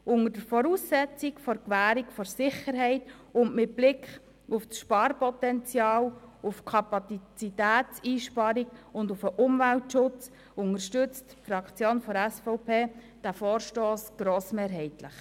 Unter der Voraussetzung der Gewährung der Sicherheit und mit Blick auf das Sparpotenzial, die Kapazitätseinsparung und den Umweltschutz unterstützt die Fraktion der SVP diesen Vorstoss grossmehrheitlich.